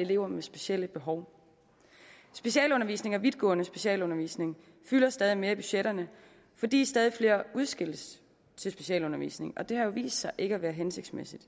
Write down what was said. elever med specielle behov specialundervisning og vidtgående specialundervisning fylder stadig mere i budgetterne fordi stadig flere udskilles til specialundervisning og det har jo vist sig ikke at være hensigtsmæssigt